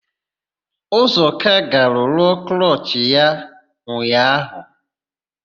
Ụzọka gara rụọ klọchị ya ụnyaahụ.